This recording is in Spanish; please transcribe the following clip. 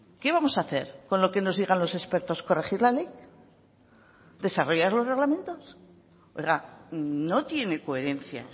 qué vamos a hacer con lo que nos digan los expertos corregir la ley desarrollar los reglamentos oiga no tiene coherencia